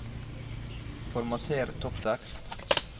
Formater topptekst